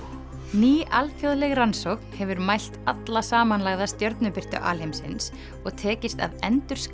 ný alþjóðleg rannsókn hefur mælt alla samanlagða stjörnubirtu alheimsins og tekist að endurskapa